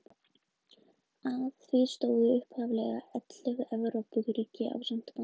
Að því stóðu upphaflega ellefu Evrópuríki ásamt Bandaríkjunum.